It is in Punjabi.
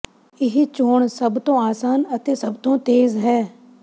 ਇਹ ਚੋਣ ਸਭ ਤੋਂ ਆਸਾਨ ਅਤੇ ਸਭ ਤੋਂ ਤੇਜ਼ ਹੈ